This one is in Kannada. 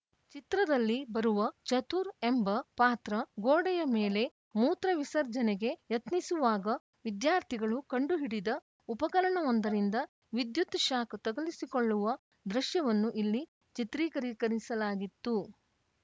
ಚಿತ್ರದಲ್ಲಿ ಬರುವ ಚತುರ್‌ ಎಂಬ ಪಾತ್ರ ಗೋಡೆಯ ಮೇಲೆ ಮೂತ್ರ ವಿಸರ್ಜನೆಗೆ ಯತ್ನಿಸುವಾಗ ವಿದ್ಯಾರ್ಥಿಗಳು ಕಂಡುಹಿಡಿದ ಉಪಕರಣವೊಂದರಿಂದ ವಿದ್ಯುತ್‌ ಶಾಕ್‌ ತಗುಲಿಸಿಕೊಳ್ಳುವ ದೃಶ್ಯವನ್ನು ಇಲ್ಲಿ ಚಿತ್ರೀಕರಿಕರಿಸಲಾಗಿತ್ತು